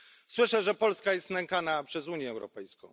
Słyszę, że Polska jest nękana przez Unię Europejską.